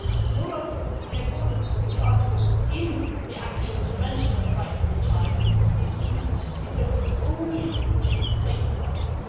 Moreover, in accordance with the articles in the actual Convention of the Rights of the Child, the instrument is open only to state parties.